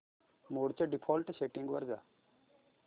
मोड च्या default settings वर जा